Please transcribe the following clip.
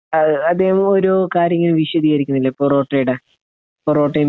അദ്ദേഹം ഒരു കാര്യം ഇങ്ങനെ വിശദീകരിക്കുന്നില്ലേ പൊറോട്ടയുടെ? പൊറോട്ടയും ബീഫും.